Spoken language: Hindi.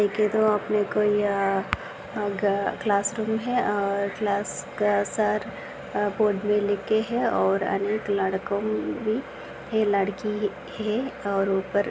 ये देखो अपने को यह अह ग क्लासरूम है और क्लास के सर अह बोर्ड पे लिखे है और अनेक लड़को भी है लड़की ही है और ऊपर-- .